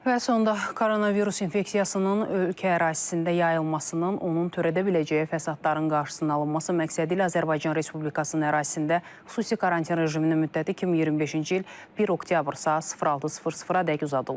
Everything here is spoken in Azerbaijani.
Və sonda koronavirus infeksiyasının ölkə ərazisində yayılmasının, onun törədə biləcəyi fəsadların qarşısının alınması məqsədilə Azərbaycan Respublikasının ərazisində xüsusi karantin rejiminin müddəti 2025-ci il 1 oktyabr saat 06:00-a dək uzadılıb.